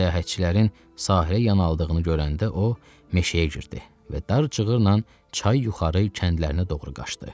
Səyahətçilərin sahilə yanalığını görəndə o meşəyə girdi və dar cığırla çay yuxarı kəndlərinə doğru qaçdı.